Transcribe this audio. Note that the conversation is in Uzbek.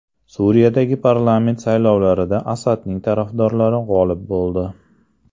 Suriyadagi parlament saylovlarida Asadning tarafdorlari g‘olib bo‘ldi.